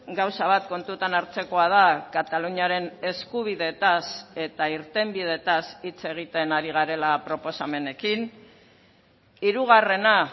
gauza bat kontutan hartzekoa da kataluniaren eskubidetaz eta irtenbidetaz hitz egiten ari garela proposamenekin hirugarrena